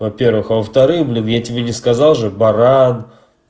во-первых а во-вторых блин я тебе не сказал же баран